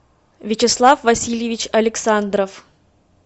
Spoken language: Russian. вячеслав васильевич александров